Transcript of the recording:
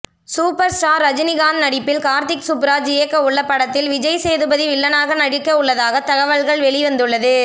super star Rajinikanth நடிப்பில் கார்த்திக் சுப்புராஜ் இயக்கவுள்ள படத்தில் விஜய்சேதுபதி வில்லனாக நடிக்கவுள்ளதாக தகவல்கள் வெளிவந்துள்ளது